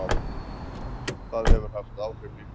Það hefur haft áhrif líka.